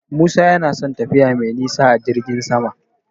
Musa yana son tafiya mai nisa a jirgin sama.